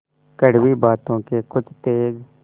कड़वी बातों के कुछ तेज